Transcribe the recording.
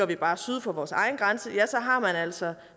bare syd for vores egen grænse har man altså